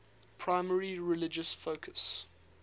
primarily religious focus